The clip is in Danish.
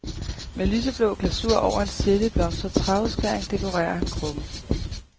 Med lyseblå glasur over en sirlig blomstret træudskæring dekorerer han krukken.